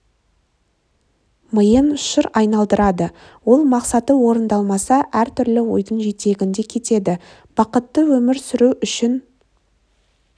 миын шыр айналдырады ол мақсаты орындалмаса әр түрлі ойдың жетегінде кетеді бақытты өмір сүру үшін